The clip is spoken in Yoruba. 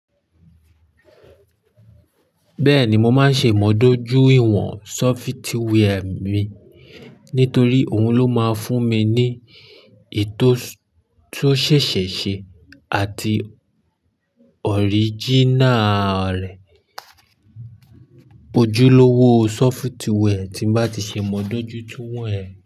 Bẹ́ẹ̀ni, mo máa ń ṣe ìmudójú ìwọ̀n sọfitíwẹ́ẹ̀ mi nítorí òhun ló máa fún mi ní ètò tan ṣẹ̀ṣẹ̀ ṣe àti òrìjínà rẹ̀. Ojúlówó sọfitíwẹ́ẹ̀ tí bá ti ṣe ìmudójútún rẹ̀